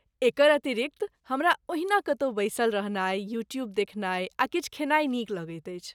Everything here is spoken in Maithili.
एकर अतिरिक्त, हमरा ओहिना कतौ बैसल रहनाइ, यूट्यूब देखनाइ आ किछु खेनाइ नीक लगैत अछि